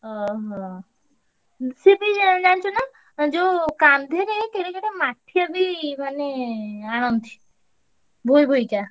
ଓହୋ! ହୁଁ ସିଏ ଜାଣିଚୁନା ଯୋଉ କାନ୍ଧରେ କେଡେ କେଡେ ~ମା ~ଠିଆ ବି ମାନେ ଆଣନ୍ତି। ବୋହିବୋହିକା।